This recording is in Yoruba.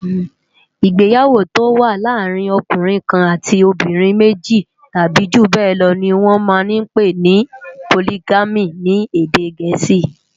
Igbéyàwó tó wà làárin òkúnrin kán àtí óbìrín méji tàbi júbèlò ni wòn mà n pé ni Pólìgàmí ni édé gẹẹsi